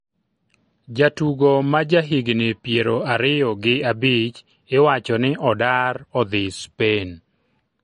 Jatugo ma ja higni piero ariyo giabich iwacho ni odar odhi Spain.